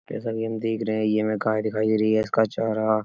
जैसा की हम देख रहे हैं ये हमें कार दिखाई दे रही है। इसका चौराहा --